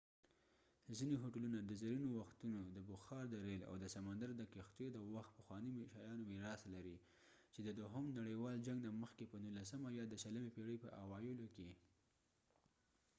ځینی هوټلونه د زرینو وختونو د بخار د ریل او د سمندر د کښتیو د وخت پخوانی شيانو میراث لري، چې د دوهم نړیوال جنګ نه مخکې ،په نوولسمه یا د شلمی پیړۍ په اوایلو کې